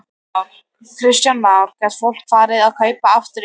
Kristján Már: Gat fólk farið að kaupa aftur í kaupfélaginu?